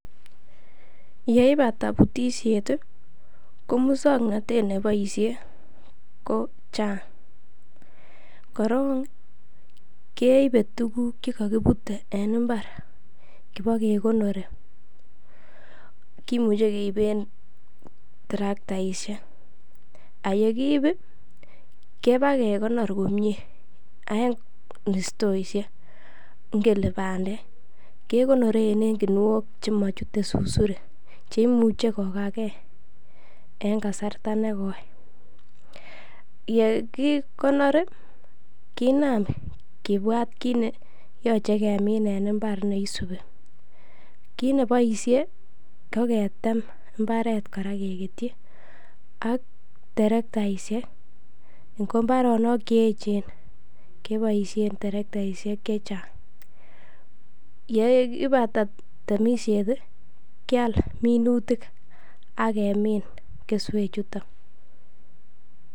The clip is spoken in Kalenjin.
Yeibate butisiet ko muswoknatet neboisie ko chang. Korong keibe tuguk ch ekokibute en mbar kipakekonori, kimuche keiben traktaishek ak ye kiib kipakekonor komie en stooishek ingele bandek kekonoren en guniok che mochute susurik che imuche kogakee en kasarta ne koi. Ye kikonor kinam kibwat kit ne yoche kemin en mbar ne isubi. Kiit ne boisie koketem mbaret kora kegetyi ak terektaishek, ngo mbarenik che eechen keboisien terektaishek che chang ye ibata temisiet kyal minutik ak kemin keswechuton.